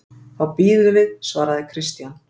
Þá bíðum við, svaraði Christian.